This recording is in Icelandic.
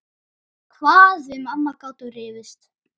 Hvað við mamma gátum rifist.